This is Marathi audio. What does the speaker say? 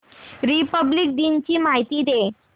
रिपब्लिक दिन ची माहिती दे